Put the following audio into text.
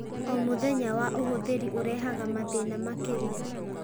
O mũthenya wa ũhũthĩri ũrehaga mathĩna makĩria.